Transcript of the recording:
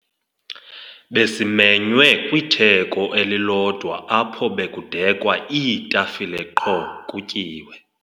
Besimenywe kwitheko elilodwa apho bekudekwa iitafile qho kutyiwe.